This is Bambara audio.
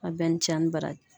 A bɛɛ ni ci ani baraji.